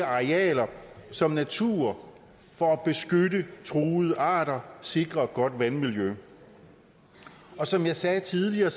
arealer som natur for at beskytte truede arter og sikre et godt vandmiljø som jeg sagde tidligere